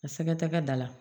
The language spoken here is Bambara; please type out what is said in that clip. A sɛgɛ tɛ kɛ da la